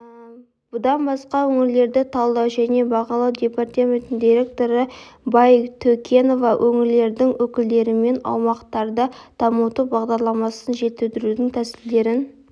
бұдан басқа өңірлерді талдау және бағалау департаментінің директоры байтөкенова өңірлердің өкілдерімен аумақтарды дамыту бағдарламасын жетілдірудің тәсілдерін